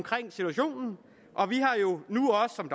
situationen